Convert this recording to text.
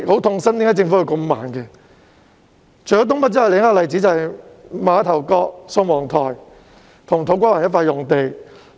除新界東北外，另一個例子便是馬頭角、宋皇臺與土瓜灣一塊用地。